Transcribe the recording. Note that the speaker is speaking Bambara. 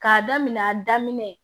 K'a daminɛ a daminɛ